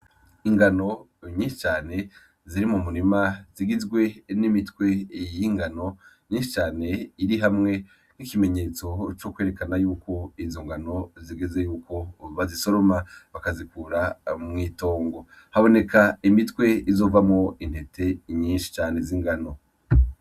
Ingano nyinshi cane ziri mu murima zigizwe n'imitwe iyingano nyinshi cane iri hamwe nk'ikimenyetso co kwerekana yuko izo ngano zigeze yuko bazisoroma bakazikura mw'itongo haboneka imitwe izovamo intete inyinshi cane z'ingano.